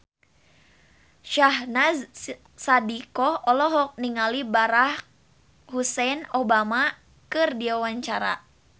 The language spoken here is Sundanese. Syahnaz Sadiqah olohok ningali Barack Hussein Obama keur diwawancara